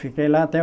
Fiquei lá até